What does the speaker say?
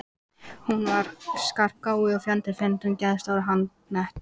Hún var skarpgáfuð og fjandi fyndin, geðstór og handnett.